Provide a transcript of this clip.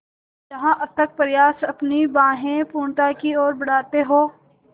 जहाँ अथक प्रयास अपनी बाहें पूर्णता की ओर बढातें हो